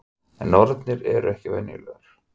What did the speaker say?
En nornir eru ekki venjulegar.